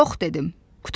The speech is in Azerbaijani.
Yox dedim.